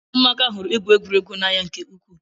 Ụmụaka hụrụ igwu egwuregwu n'anya nke ukwuu